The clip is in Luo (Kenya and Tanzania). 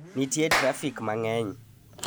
nitie trafik mang'eny